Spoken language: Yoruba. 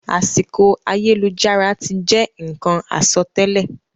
Àsìkò ayélujára ti je nkan àsọtẹlẹ.